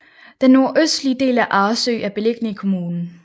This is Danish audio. Den nordøstlige del af Arresø er beliggende i kommunen